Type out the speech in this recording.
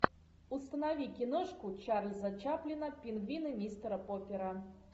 установи киношку чарльза чаплина пингвины мистера поппера